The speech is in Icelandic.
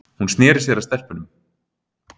Hún sneri sér að stelpunum.